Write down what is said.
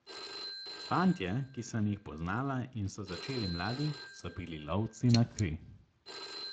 Fantje, ki sem jih poznala in so začeli mladi, so bili lovci na kri.